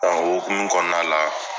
Ɔn o hokumu kɔnɔna la